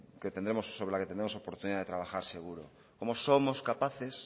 sobre la que tenemos oportunidad de trabajar seguro como somos capaces